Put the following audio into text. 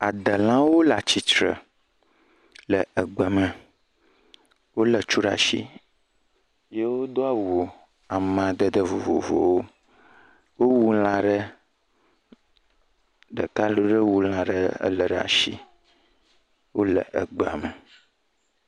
adelawo le atsitre le egbe me wóle tsu ɖasi ye wodó awu amadede vovovowo wó wu lã ɖe ɖeka ɖe wu lã le ɖe asi le egbe me